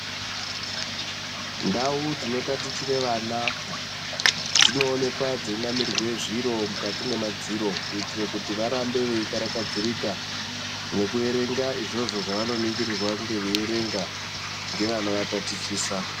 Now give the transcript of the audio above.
Ndau dzinotatichire vana dzinoonekwa dzeinamirwe zviro mukati mwemadziro kuitira Kuti varambe veikarakadzirika nekuverenga izvozvo zvavanoningirirwa kunge veiverenga ngevanovatatichisa.